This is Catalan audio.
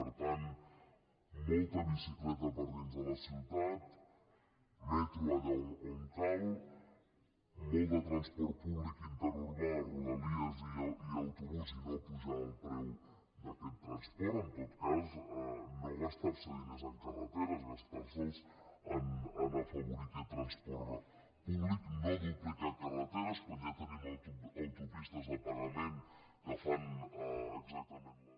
per tant molta bicicleta per dins de les ciutats metro allà on cal molt de transport públic interurbà rodalies i autobús i no apujar el preu d’aquest transport en tot cas no gastar se diners en carreteres gastar se’ls en el fet d’afavorir aquest transport públic no duplicar carreteres quan ja tenim autopistes de pagament que fan exactament la